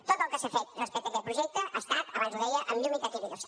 tot el que s’ha fet respecte a aquest projecte ha estat abans ho deia amb llum i taquígrafs